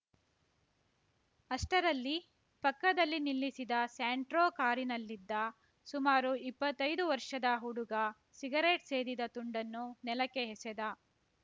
ಅಷ್ಟರಲ್ಲಿ ಪಕ್ಕದಲ್ಲಿ ನಿಲ್ಲಿಸಿದ ಸ್ಯಾಂಟ್ರೋ ಕಾರಿನಲ್ಲಿದ್ದ ಸುಮಾರು ಇಪ್ಪತ್ತೈದು ವರ್ಷದ ಹುಡುಗ ಸಿಗರೇಟ್‌ ಸೇದಿದ ತುಂಡನ್ನು ನೆಲಕ್ಕೆ ಎಸೆದ